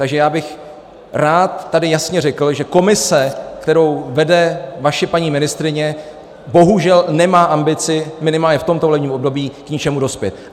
Takže já bych rád tady jasně řekl, že komise, kterou vede vaše paní ministryně, bohužel nemá ambici minimálně v tomto volebním období k něčemu dospět.